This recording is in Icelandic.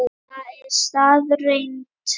Það er staðreynd